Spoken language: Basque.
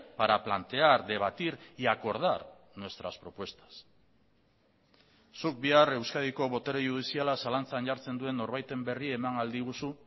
para plantear debatir y acordar nuestras propuestas zuk bihar euskadiko botere judiziala zalantzan jartzen duen norbaiten berri eman ahal diguzu